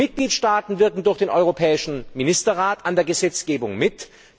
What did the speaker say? Die Mitgliedstaaten wirken durch den Europäischen Ministerrat an der Gesetzgebung mit.